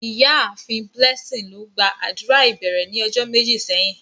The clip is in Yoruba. Iyaafin Blessing lo gba adura ibẹrẹ ni ọjọ meji sẹhin.